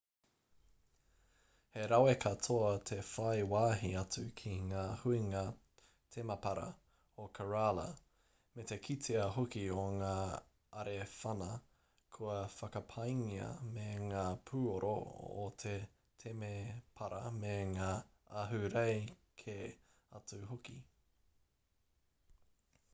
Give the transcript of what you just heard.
he rawe katoa te whai wāhi atu ki ngā huinga temapara o kerala me te kitea hoki o ngā arewhana kua whakapaingia me ngā pūoro o te temepara me ngā ahurei kē atu hoki